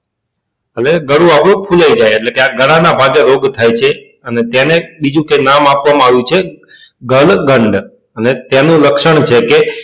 હવે ગાળું આપડું ફૂલાઈ જાય એટલે કે આ ગાળા ના ભાગે રોગ થાય છે અને તેને બીજું કે નામ આપવા માં આવ્યું છે અને તેનું લક્ષણ છે કે